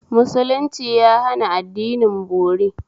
Musulunci ya hana addinin bori